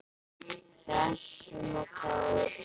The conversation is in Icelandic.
Hressum og kátum.